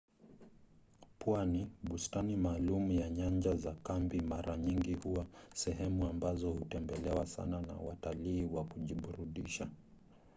pwani bustani maalum na nyanja za kambi mara nyingi huwa sehemu ambazo hutembelewa sana na watalii wa kujiburudisha